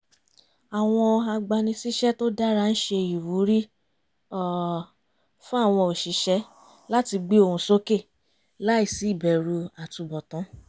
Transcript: àwọn agbani síṣẹ́ tó dára ń ṣe ìwúrí fún àwọn òṣìṣẹ́ láti gbé ohùn sókè láì sí ìbẹ̀rù àtunbọ̀tán